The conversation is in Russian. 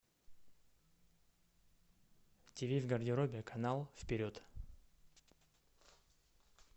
тиви в гардеробе канал вперед